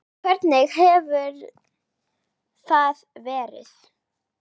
Hvernig hefur það verið?